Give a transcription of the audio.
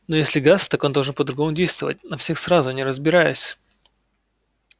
но если газ так он должен по-другому действовать на всех сразу не разбираясь